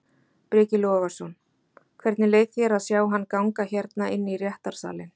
Breki Logason: Hvernig leið þér að sjá hann ganga hérna inn í réttarsalinn?